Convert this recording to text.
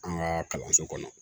An ka kalanso kɔnɔ